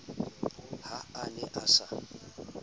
ha a ne a sa